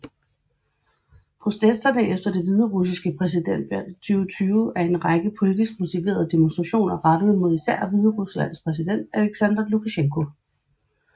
Protesterne efter det hviderussiske præsidentvalg 2020 er en række politisk motiverede demonstrationer rettet mod især Hvideruslands præsident Aleksandr Lukasjenko